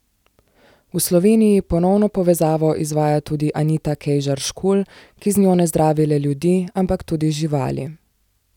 V Sloveniji ponovno povezavo izvaja tudi Anita Kejžar Škulj, ki z njo ne zdravi le ljudi, ampak tudi živali.